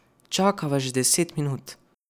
Čakava že deset minut.